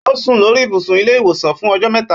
Ó sùn lórí ibùsùn ilé ìwòsàn fún ọjọ́ mẹ́ta.